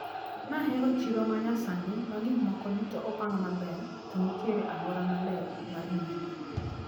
Nahero chiro manyasani magikmoko duto opang maber to nitiere aluora maler mar nyiepo.